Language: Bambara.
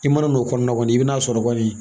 I mana n'o kɔnɔna kɔni i bɛ n'a sɔrɔ kɔni